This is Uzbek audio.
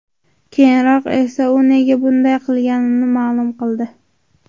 Keyinroq esa u nega bunday qilganini ma’lum qildi .